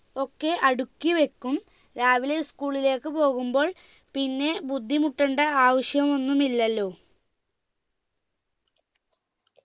ഒക്കെ അടുക്കി വെക്കും രാവിലെ school ലേക്ക് പോകുമ്പോൾ പിന്നെ ബുദ്ധിമുട്ടണ്ട ആവശ്യമൊന്നുമില്ലലോ